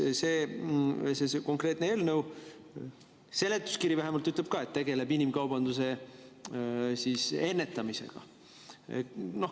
See konkreetne eelnõu, seletuskiri vähemalt, ütleb ka, et tegeldakse inimkaubanduse ennetamisega.